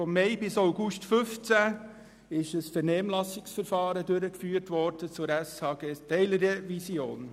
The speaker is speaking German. Von Mai bis August 2015 wurde ein Vernehmlassungsverfahren zur SHG-Teilrevision durchgeführt.